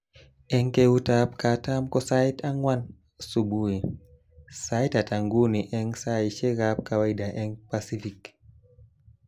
Eng keutab katam ko sait anwan subui, sait ata nguni eng saishekab kawaida eng Pasifik